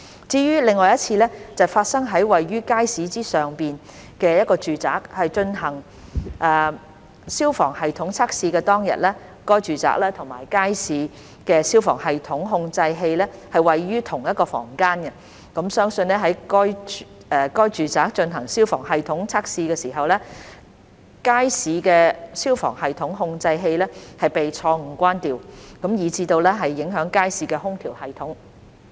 至於另一次是發生於位處街市之上的住宅進行消防系統測試當天；該住宅和街市的消防系統控制器位於同一房間，相信在該住宅進行消防系統測試時，街市的消防系統控制器被錯誤關掉，以致影響街市的空調系統。